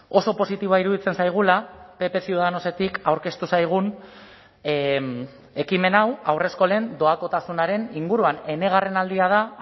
oso positiboa iruditzen zaigula pp ciudadanosetik aurkeztu zaigun ekimen hau haurreskolen doakotasunaren inguruan enegarren aldia da